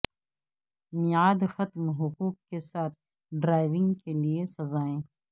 میعاد ختم حقوق کے ساتھ ڈرائیونگ کے لئے سزائیں